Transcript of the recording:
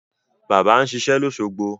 Bàbá ń ṣiṣẹ́ lósogbo